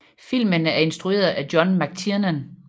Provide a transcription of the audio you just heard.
Filmen er instrueret af John McTiernan